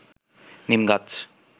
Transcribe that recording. নিম গাছ